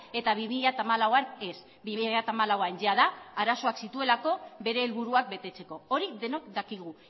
eta bi mila hamalauan ez bi mila hamalauan jada arazoak zituelako bere helburuak betetzeko hori denok dakigu